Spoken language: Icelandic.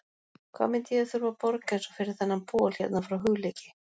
Hvað myndi ég þurfa að borga eins og fyrir þennan bol hérna frá Hugleiki?